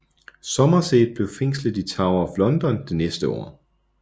Somerset blev fængslet i Tower of London det næste år